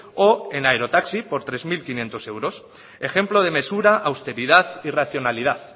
o en aerotaxi por tres mil quinientos euros ejemplo de mesura austeridad y racionalidad